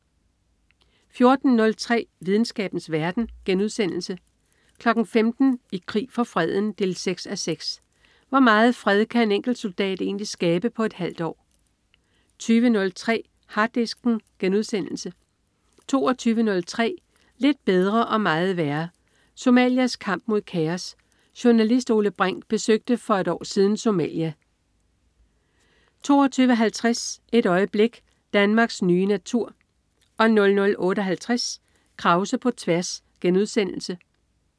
14.03 Videnskabens verden* 15.00 I krig for freden 6:6. Hvor meget fred kan en enkelt soldat egentlig skabe på et halvt år? 20.03 Harddisken* 22.03 Lidt bedre og meget værre. Somalias kamp mod kaos. Journalist Ole Brink besøgte for et år siden Somalia 22.50 Et øjeblik. Danmarks nye natur 00.58 Krause på tværs*